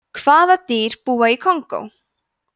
hvaða dýr búa í kongó